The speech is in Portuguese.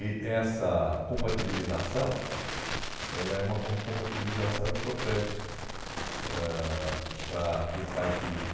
Eh essa compatibilização, ela é uma com compatibilização importante ãh para quem faz política.